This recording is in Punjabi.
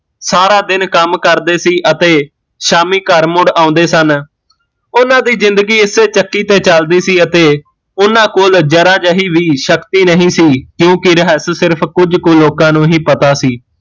ਸਾਰਾ ਦਿਨ ਕੰਮ ਕਰਦੇ ਸੀ ਅਤੇ ਸ਼ਾਮੀ ਘਰ ਮੁੜ ਆਉਂਦੇ ਸਨ ਓਹਨਾਂ ਦੀ ਜ਼ਿੰਦਗੀ ਇਸੇ ਚੱਕੀ ਤੇ ਚੱਲਦੀ ਸੀ ਅਤੇ ਓਹਨਾਂ ਕੋਲ ਜ਼ਰਾ ਜਿਹੀ ਵੀ ਸ਼ਕਤੀ ਨਹੀਂ ਸੀ ਕਿਓਕਿ ਰਹੱਸ ਸਿਰਫ਼ ਕੁਜ ਕੁ ਲੋਕਾਂ ਨੂ ਹੀਂ ਪਤਾ ਸੀ